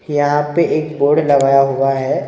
यहाँ पे एक बोर्ड लगाया हुआ हैं ।